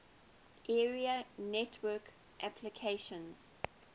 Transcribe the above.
area network applications